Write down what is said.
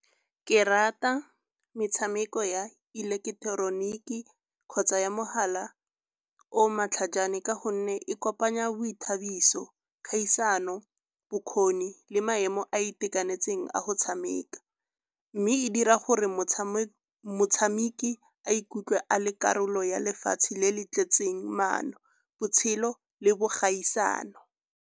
Ke rata metshameko ya ileketeroniki kgotsa ya mogala o matlhajane ka gonne e kopanya boithabiso, kgaisano, bokgoni le maemo a itekanetseng a go tshameka. Mme e dira gore motshameki a ikutlwe a le karolo ya lefatshe le le tletseng maano, botshelo le bogaisano.